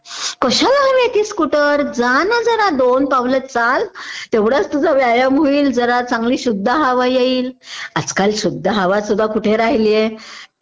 कशाला हवी ती स्कुटर?जा ना जरा दोन पावलं चाल तेवढाच तुझा व्यायाम होईल चांगली शुद्ध हवा येईल.आजकाल शुद्ध हवासुद्धा कुठं राहिलीये?